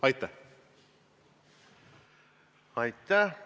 Aitäh!